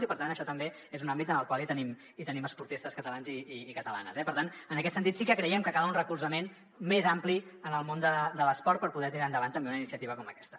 i per tant això també és un àmbit en el qual tenim esportistes catalans i catalanes eh per tant en aquest sentit sí que creiem que cal un recolzament més ampli al món de l’esport per poder tirar endavant també una iniciativa com aquesta